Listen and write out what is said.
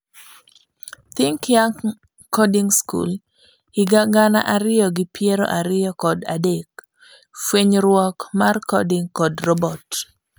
Think Young Coding School, higa gana ariyo gi piero ariyo kod adek, fuenyruok mar coding kod robot.